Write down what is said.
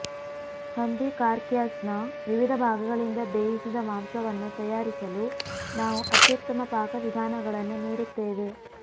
ಹಂದಿ ಕಾರ್ಕ್ಯಾಸ್ನ ವಿವಿಧ ಭಾಗಗಳಿಂದ ಬೇಯಿಸಿದ ಮಾಂಸವನ್ನು ತಯಾರಿಸಲು ನಾವು ಅತ್ಯುತ್ತಮ ಪಾಕವಿಧಾನಗಳನ್ನು ನೀಡುತ್ತೇವೆ